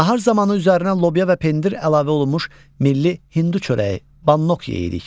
Nahar zamanı üzərinə lobya və pendir əlavə olunmuş milli hindu çörəyi, bannok yeyirik.